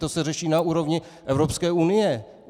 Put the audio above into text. To se řeší na úrovni Evropské unie!